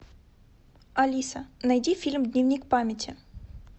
алиса найди фильм дневник памяти